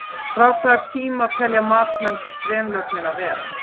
Frá hvaða tíma telja matsmenn drenlögnina vera?